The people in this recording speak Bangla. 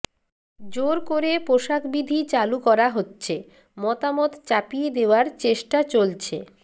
জোর করে পোশাক বিধি চালু করা হচ্ছে মতামত চাপিয়ে দেওয়ার চেষ্টা চলছে